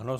Ano.